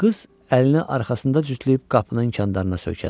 Qız əlini arxasında cütləyib qapının inkandarlarına söykəndi.